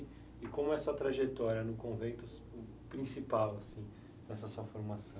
E como é a sua trajetória no convento, o principal, assim, nessa sua formação?